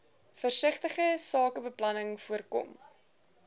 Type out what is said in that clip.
versigtige sakebeplanning voorkom